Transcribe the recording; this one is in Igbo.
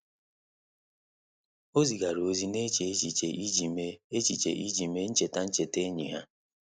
Ọ́ zìgàrà ózị́ nà-échè échíché iji mèé échíché iji mèé ncheta ncheta ényì ha.